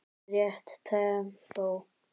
Rétt tempó.